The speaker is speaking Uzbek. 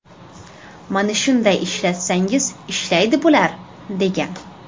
Mana shunday ishlatsangiz ishlaydi bular”, degan.